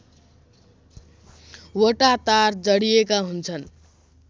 वटा तार जडिएका हुन्छन्